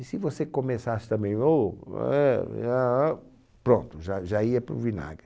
E se você começasse também o, ué, e ahn ahn, pronto, já já ia para o vinagre.